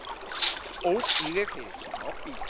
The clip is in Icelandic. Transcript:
Ók í veg fyrir smábíl